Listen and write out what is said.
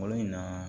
Bolo in na